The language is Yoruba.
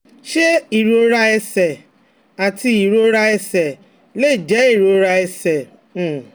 Ṣé ìrora ẹsẹ̀ àti ìrora ẹsẹ̀ lè jẹ́ ìrora ẹsẹ̀? um